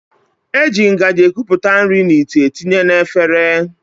E ji ngaji ekupụta nri n'ite etinye na efere